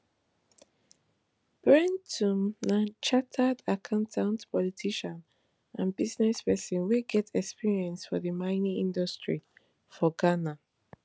brentum na chartered accountant politician and business person wey get experience for di mining industry for ghana